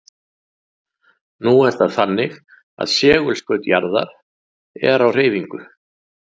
Nú er það þannig að segulskaut jarðar er á hreyfingu.